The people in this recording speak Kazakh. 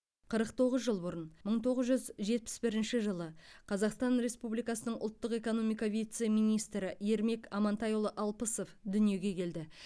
қырық тоғыз жыл бұрын мың тоғыз жүз жетпіс бірінші жылы қазақстан республикасының ұлттық экономика вице министрі ермек амантайұлы алпысов дүниеге келді